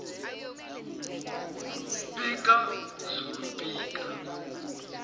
pika zulu pika